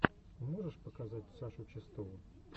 можешь показать сашу чистову